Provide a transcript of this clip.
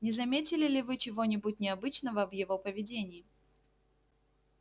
не заметили ли вы чего-нибудь необычного в его поведении